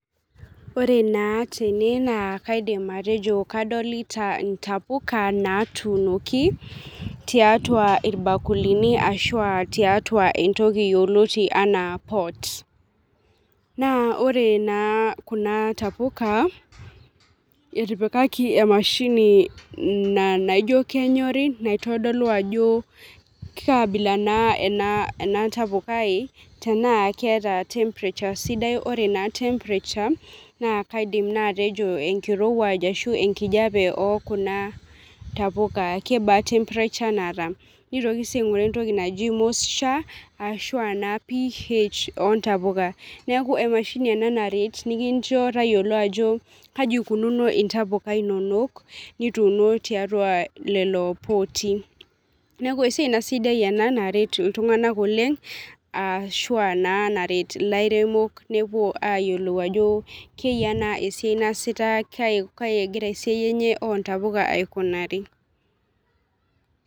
Ore naa tene naa kaidim atejo kadolita ntapuka natuunoki tiatua irbakulini ashuaa tiatua entoki yioloti anaa pot . Naa ore naa kuna tapuka , etipikaki emashini naijo kenyori naitodolu ajo kaabila naa ena ena tapukai tenaa keeta temperature sidai , ore naa temperature naa kaidim naa atejo , enkirowuaj ashu enkijape okuna tapuka , kebaa temperature naata , nitoki sii ainguraa entoki naji moisture ashua naa ph ontapuka . Niaku emashini ena naa nikincho tayiolo ajo kaji ikununo ntapuka inonok nituuno tiatua lelo pooti . Neeku esiai naa sidai ena , naret iltunganak oleng ashua naa naret ilairemok , nepuo ayiolou ajo , keyia naa ena siai naasita kai kai egira esiai enye ontapuka aikunari.